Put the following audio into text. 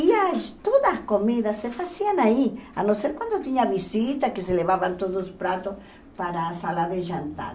E a todas as comidas se faziam aí, a não ser quando tinha visita, que se levavam todos os pratos para a sala de jantar.